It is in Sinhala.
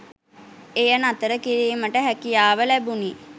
එය නතර කිරීමට හැකියාව ලැබුණි